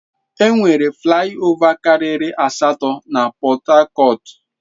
Enwere flai ova karịrị asatọ na Pọt hakọt.